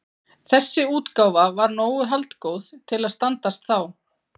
Þessi útgáfa var nógu haldgóð til að standast þá